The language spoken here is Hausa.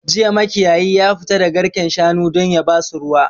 Jiya makiyayi ya fita da garken shanu don yabasu ruwa